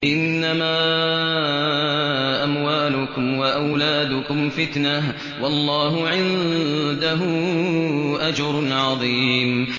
إِنَّمَا أَمْوَالُكُمْ وَأَوْلَادُكُمْ فِتْنَةٌ ۚ وَاللَّهُ عِندَهُ أَجْرٌ عَظِيمٌ